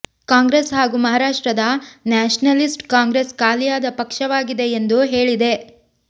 ಕಾಂಗ್ರೆಸ್ ಹಾಗೂ ಮಹಾರಾಷ್ಟ್ರದ ನ್ಯಾಷನಲಿಸ್ಟ್ ಕಾಂಗ್ರೆಸ್ ಖಾಲಿಯಾದ ಪಕ್ಷವಾಗಿದೆ ಎಂದು ಹೇಳಿದೆ